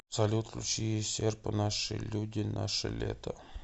салют включи серпо наши люди наше лето